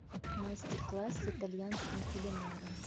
мастер класс с итальянским кулинаром